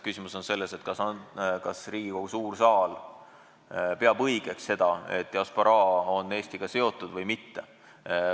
Küsimus on selles, kas Riigikogu suur saal peab õigeks seda, et diasporaa on Eestiga seotud või mitte.